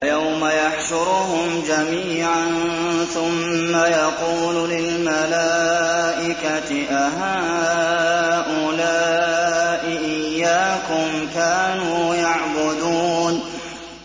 وَيَوْمَ يَحْشُرُهُمْ جَمِيعًا ثُمَّ يَقُولُ لِلْمَلَائِكَةِ أَهَٰؤُلَاءِ إِيَّاكُمْ كَانُوا يَعْبُدُونَ